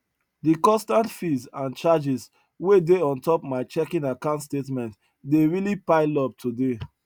de constant fees and charges wey dey on top my checking account statement dey really pile up today